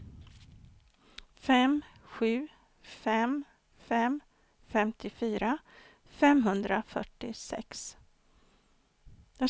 fem sju fem fem femtiofyra femhundrafyrtiosex